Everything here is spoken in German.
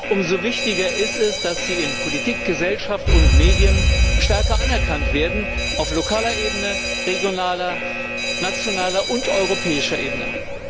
Umso wichtiger ist es, dass sie in Politik, Gesellschaft und Medien stärker anerkannt werden auf lokaler, regionaler, nationaler und europäischer Ebene.